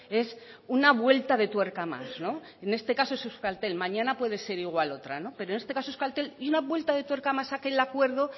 es una vuelta de tuerca más en este caso es euskaltel mañana puede ser igual otra pero en este caso euskaltel y una vuelta de tuerca más aquel acuerdo